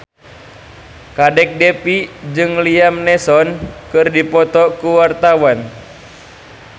Kadek Devi jeung Liam Neeson keur dipoto ku wartawan